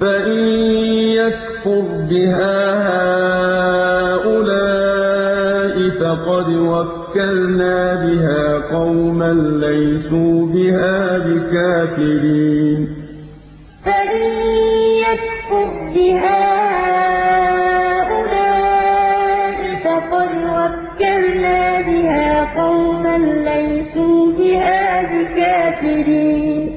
فَإِن يَكْفُرْ بِهَا هَٰؤُلَاءِ فَقَدْ وَكَّلْنَا بِهَا قَوْمًا لَّيْسُوا بِهَا بِكَافِرِينَ أُولَٰئِكَ الَّذِينَ آتَيْنَاهُمُ الْكِتَابَ وَالْحُكْمَ وَالنُّبُوَّةَ ۚ فَإِن يَكْفُرْ بِهَا هَٰؤُلَاءِ فَقَدْ وَكَّلْنَا بِهَا قَوْمًا لَّيْسُوا بِهَا بِكَافِرِينَ